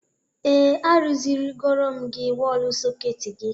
Ee, arụziri gorom m gị wọl sọketị gị